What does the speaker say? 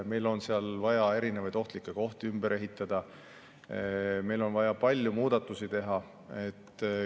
Meil on vaja erinevaid ohtlikke kohti ümber ehitada, meil on vaja palju muudatusi teha.